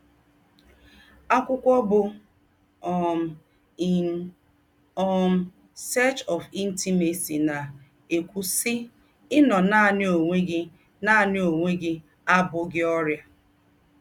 Ákwụ́kwọ̀ bụ́ um In um Search of Intimacy na-ēkùwú, sị́: “Ị̀nọ̀ nánị̀ ònwé gị̀ nánị̀ ònwé gị̀ abụ́ghị̀ ọrịà.